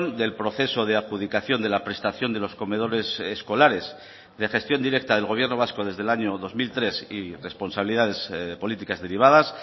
del proceso de adjudicación de la prestación de los comedores escolares de gestión directa del gobierno vasco desde el año dos mil tres y responsabilidades políticas derivadas